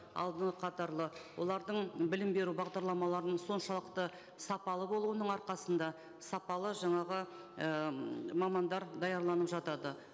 алдынғы қатарлы олардың білім беру бағдарламаларының соншалықты сапалы болуының арқасында сапалы жаңағы і мамандар даярланып жатады